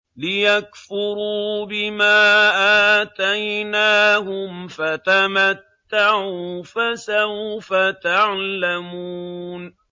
لِيَكْفُرُوا بِمَا آتَيْنَاهُمْ ۚ فَتَمَتَّعُوا فَسَوْفَ تَعْلَمُونَ